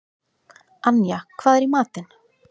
Anja, hvað er í matinn?